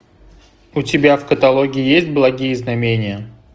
у тебя в каталоге есть благие знамения